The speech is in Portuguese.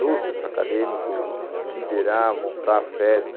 No centro acadêmico, liderar, montar a festa.